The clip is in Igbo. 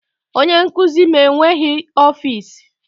Onye nkuzi m enweghị ọfịs